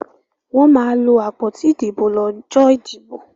Wọ́n máa lo àpótí ìdìbò lọ́jọ́ ìdìbò.